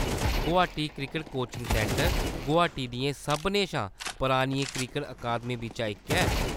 Guwahati cricket coaching centre Guwahati दियें सभनें शा परानियें क्रिकट अकादमियें बिच्चा इक ऐ।